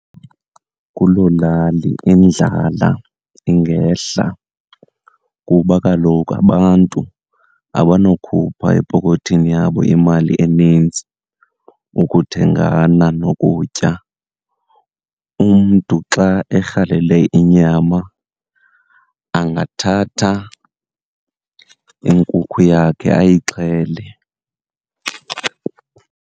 Kuloo lali indlala ingehla, kuba kaloku abantu abanokhupha epokothini yabo imali enintsi ukuthengana nokutya. Umntu xa erhalele inyama angathatha inkukhu yakhe ayixhele.